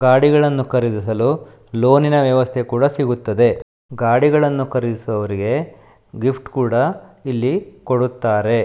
ಗಾಡಿಗಳನ್ನು ಖರೀದಿಸಲು ಲೋನಿನ ವ್ಯವಸ್ಥೆ ಕೂಡ ಸಿಗುತ್ತದೆ. ಗಾಡಿಗಳನ್ನು ಖರೀದಿಸುವರಿಗೆ ಗಿಫ್ಟ್ ಕೂಡ ಇಲ್ಲಿ ಕೊಡುತ್ತಾರೆ.